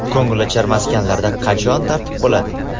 Ko‘ngilochar maskanlarda qachon tartib bo‘ladi?.